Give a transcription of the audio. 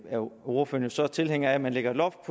ordføreren jo så tilhænger af at man lægger et loft